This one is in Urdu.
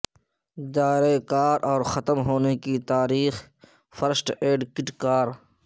دائرہ کار اور ختم ہونے کی تاریخ فرسٹ ایڈ کٹ کار